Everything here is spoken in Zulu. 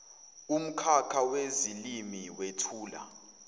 umkhakha wezilimi wethulwa